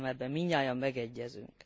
Azt hiszem, ebben mindnyájan megegyezünk.